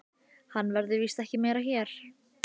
Hann verður víst ekki meira hér.